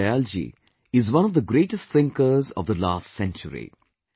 Deen Dayal ji is one of the greatest thinkers of the last century